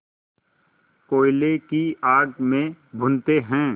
कोयले की आग में भूनते हैं